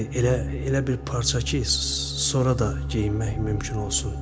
Elə elə bir parça ki, sonra da geyinmək mümkün olsun.